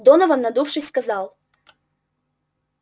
донован надувшись сказал